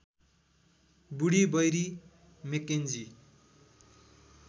बुढी Barry McKenzie